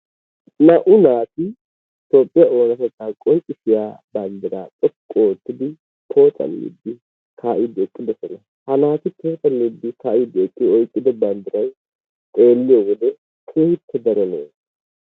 Naa"u naati Toophphiya oonatetta qonccissiya banddiraa xoqqu oottidi pooccammidi kaa'iyadi ekki boossona, ha naati pooccammidi kaa'iidi ekki efiido banddiraay xeeliyode keehippe tana lo'ees.